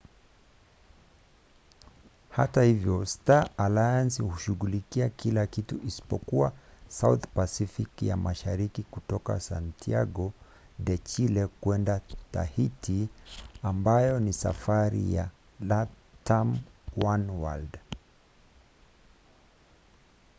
hata hivyo star alliance hushughulikia kila kitu isipokuwa south pacific ya mashariki kutoka santiago de chile kwenda tahiti ambayo ni safari ya latam oneworld